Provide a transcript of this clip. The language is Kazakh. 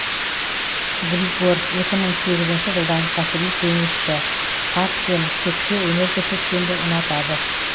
григор екі мың сегізінші жылдан кәсіби теннисшы хард пен шөпте өнер көрсеткенді ұнатады